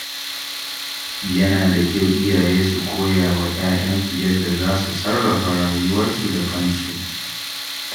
Yana da kyau iyaye su koya wa ‘ya’yansu yadda za su sarrafa rayuwarsu da kansu.